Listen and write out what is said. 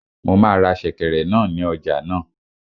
Mo máa ra sèkẹ̀rẹ̀ náà ní ọjà náà